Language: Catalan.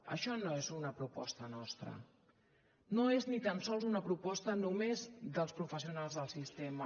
això no és una proposta nostra no és ni tan sols una proposta només dels professionals del sistema